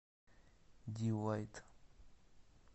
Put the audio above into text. ди вайт